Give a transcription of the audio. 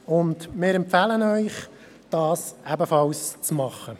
Wir empfehlen Ihnen, dies ebenfalls zu tun.